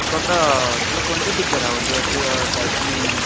तू आता तुला कोणते पिक्चर आवडतात असे डॅशिंग